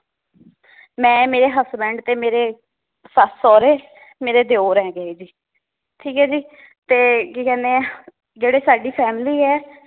ਮੈ ਮੇਰੇ husband ਤੇ ਮੇਰੇ ਸੱਸ, ਸੌਹਰੇ ਮੇਰੇ ਦਿਓਰ ਹੈਗੇ ਏ ਜੀ ਠੀਕ ਏ ਜੀ ਤੇ ਕੀ ਕਹਿੰਨੇ ਆ, ਜਿਹੜੇ ਸਾਡੀ family ਏ